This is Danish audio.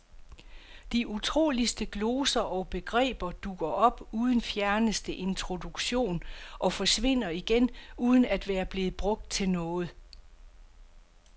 De utroligste gloser og begreber dukker op uden fjerneste introduktion og forsvinder igen uden at være blevet brugt til noget.